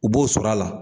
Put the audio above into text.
U b'o sɔrɔ a la